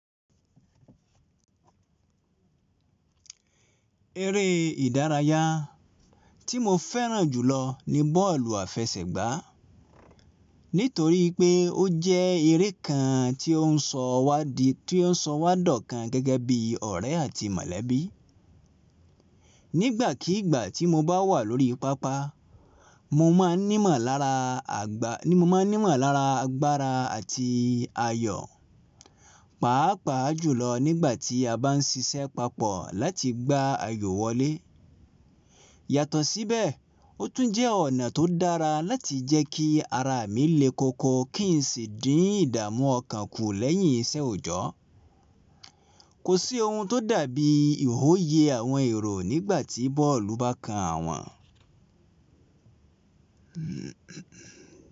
Eré ìdárayá tí mo fẹ́ràn jùlọ ni bọ́ọ̀lù àfẹsẹ̀gbá nítorí pé ó jẹ́ eré kan tí ó sọ wá dọ̀kan gẹ́gẹ́ bí ọ̀rẹ́ àti mọ̀lẹ́bí. Nígbàkígbà tí mo bá wà lórí pápá, mo maa n mo máa ní mọ̀lára agbára àti ayọ̀, pàápàá jùlọ nígbà tí a bá ń ṣiṣẹ́ papọ̀ láti gbá ayò wọlé. Yàtọ̀ síbẹ̀, ó tún jẹ́ ọ̀nà tó dára láti jẹ́ kí ara mi léko ko kí n sì dín ìdààmú ọkàn kù lẹ́yìn iṣẹ́ òjọ́. Kò sí ohun tó dàbí ìwòye àwọn èrò nígbà tí bọ́ọ̀lù bá kan àwọn.